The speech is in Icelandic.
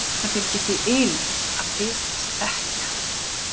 Það fylgir því ylur að þykjast þekkja.